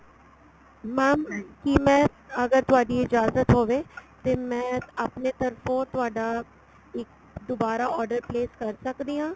mam ਕੀ ਮੈਂ ਅਗਰ ਤੁਹਾਡੀ ਇਜਾਜਤ ਹੋਵੇ ਤੇ ਮੈਂ ਆਪਣਾ ਤਰਫੋ ਤੁਹਾਡਾ ਇੱਕ ਦੁਬਾਰਾ order place ਕਰ ਸਕਦੀ ਆ